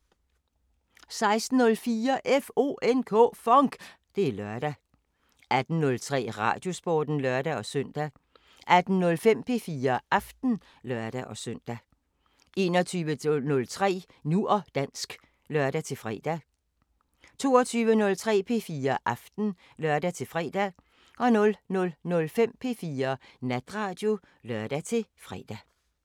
16:04: FONK! Det er lørdag 18:03: Radiosporten (lør-søn) 18:05: P4 Aften (lør-søn) 21:03: Nu og dansk (lør-fre) 22:03: P4 Aften (lør-fre) 00:05: P4 Natradio (lør-fre)